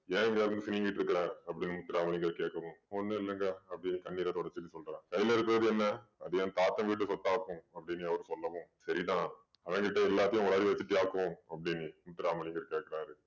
ஏன் இங்க நின்னு சிணுங்கிட்டிருக்கிற அப்படீன்னு முத்துராமலிங்கம் கேக்கவும் ஒண்ணும் இல்லைங்க அப்படீன்னு கண்ணீர தொடச்சுட்டு சொல்றா. கையில இருக்கறது என்ன அது என் தாத்தன் வீட்டு சொத்தாக்கும் அப்படீன்னு அவர் சொல்லவும் சரி தான் அவன் கிட்ட எல்லாத்தையும் உளறை வச்சிட்டியாக்கும் அப்படீன்னு முத்துராமலிங்கம் கேக்குறாரு.